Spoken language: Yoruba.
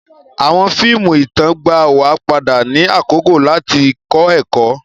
Awọn fíìmù ìtàn gbà wa padà ni àkókò lati kọ ẹkọ.